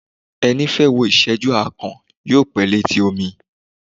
Ẹni fẹ́ wò ìsẹ́jú akàn, yóò pẹ́ létí omi